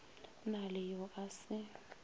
na le yo a se